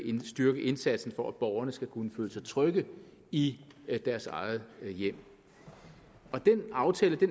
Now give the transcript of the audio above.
styrke indsatsen for at borgerne skal kunne føle sig trygge i deres eget hjem den aftale